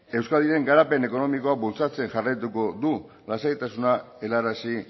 euskadiren garapen ekonomikoa bultzatzen jarraituko du lasaitasuna helarazi